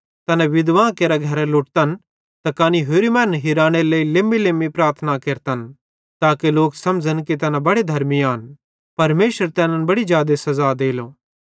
तैना विधवां केरे घरन लुटतन त कने होरि मैनन् हिरानेरे लेइ लेम्मीलेम्मी प्रार्थना केरतन ताके लोक समझ़न कि तैना बड़े धर्मी आन परमेशर तैनन् बड़ी जादे सज़ा देलो